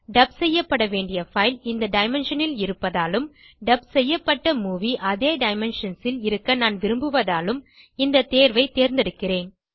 dub செய்யப்பட வேண்டிய file இந்த டைமென்ஷன் இல் இருப்பதாலும் டப் செய்யப்பட்ட மூவி அதே டைமென்ஷன்ஸ் ல் இருக்க நான் விரும்புவதாலும் இந்த தேர்வை தேர்ந்தெடுக்கிறேன்